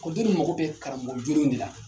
Ekɔliden ninnu mago bɛ karamɔgɔ jolenw de la